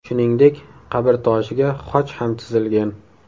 Shuningdek, qabrtoshiga xoch ham chizilgan.